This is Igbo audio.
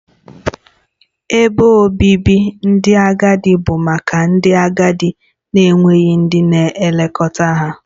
Ebe obibi ndị agadi bụ maka ndị agadi na-enweghị ndị na-elekọta ha